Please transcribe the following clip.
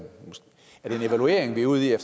evaluering vi er ude i at